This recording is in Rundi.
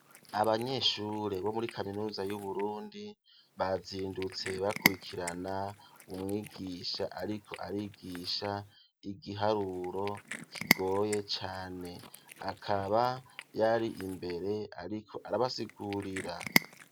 Abanyeshure bo muri kaminuza y'Uburundi, bazindutse bakurikirana umwigisha ariko arigisha igiharuro kigoye cane. Akaba yari imbere ariko arabasigurira.